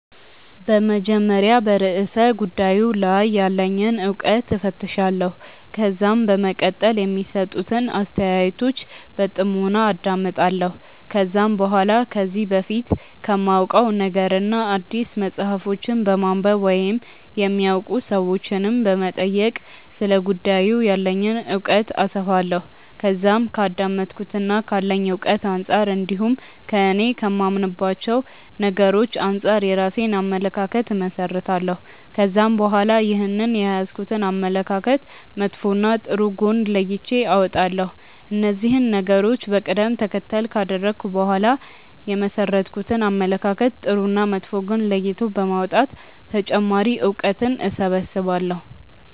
በመጀመሪያ በርእሰ ጉዳዩ ላይ ያለኝን እውቀት እፈትሻለሁ። ከዛም በመቀጠል የሚሰጡትን አስተያየቶች በጥሞና አዳምጣለሁ። ከዛም በኋላ ከዚህ በፊት ከማውቀው ነገርና አዲስ መጽሐፎችን በማንበብ ወይም የሚያውቁ ሰዎችንም በመጠየቅ ስለ ጉዳዩ ያለኝን እውቀት አሰፋለሁ። ከዛም ከአዳመጥኩትና ካለኝ እውቀት አንጻር እንዲሁም እኔ ከማምንባቸው ነገሮች አንጻር የራሴን አመለካከት እመሠረታለሁ። ከዛም በኋላ ይህንን የያዝኩትን አመለካከት መጥፎና ጥሩ ጎን ለይቼ አወጣለሁ። እነዚህን ነገሮች በቀደም ተከተል ካደረኩ በኋላ የመሠረትኩትን አመለካከት ጥሩና መጥፎ ጎን ለይቶ በማውጣት ተጨማሪ እውቀትን እሰበስባለሁ።